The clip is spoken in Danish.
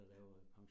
Ja